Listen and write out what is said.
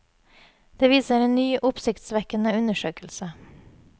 Det viser en ny, oppsiktsvekkende undersøkelse.